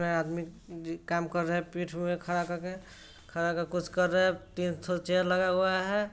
यह आदमी दी काम कर रहा है पीठ पे खड़ा कर के| खड़ा कर के कुछ कर रहा है| तीन थो चेयर लगा हुआ है।